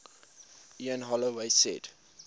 ian holloway said